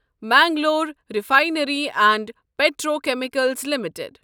Mangalore refinery and petrochemicals limited